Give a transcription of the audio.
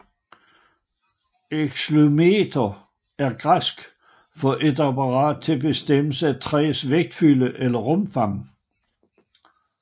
Xylometer er græsk for et apparat til bestemmelse af træs vægtfylde eller rumfang